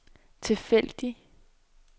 tilfældig